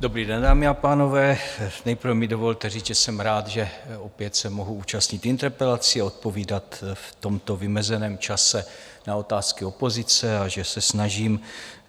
Dobrý den, dámy a pánové, nejprve mi dovolte říct, že jsem rád, že opět se mohu účastnit interpelací a odpovídat v tomto vymezeném čase na otázky opozice a že se snažím,